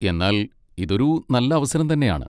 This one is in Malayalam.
എന്നാൽ ഇതൊരു നല്ല അവസരം തന്നെയാണ്.